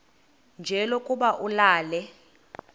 nje lokuba ulale